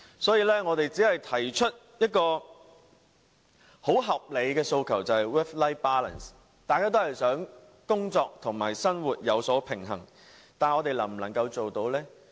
所以，我們只提出一項很合理的訴求，便是 "work-life balance"， 大家也想工作與生活平衡，但我們能否做到呢？